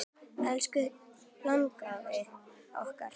Elsku langafi okkar.